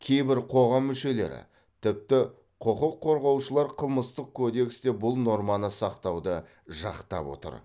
кейбір қоғам мүшелері тіпті құқық қорғаушылар қылмыстық кодексте бұл норманы сақтауды жақтап отыр